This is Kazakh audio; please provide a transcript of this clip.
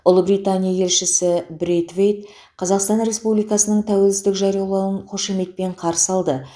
ұлыбритания елшісі брейтвейт қазақстан республикасының тәуелсіздік жариялауын қошеметпен қарсы алды